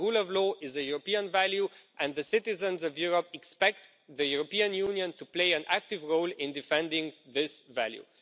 The rule of law is a European value and the citizens of Europe expect the European Union to play an active role in defending this value.